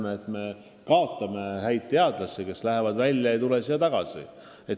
Me tõesti kaotame häid teadlasi, kes lahkuvad Eestist ega tule siia tagasi.